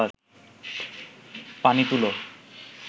পানি তুলো